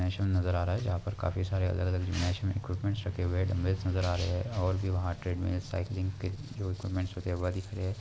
शन नजर आ रहा है जहां पर काफी सारे अलग-अलग मैच में इक्विपमेंट रखे हुए लंबे नजर आ रहे हैं और भी वहां ट्रेड में--